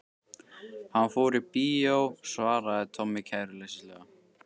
Hann fór í bíó svaraði Tommi kæruleysislega.